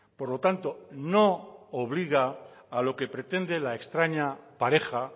por lo tanto no obliga a lo que pretende la extraña pareja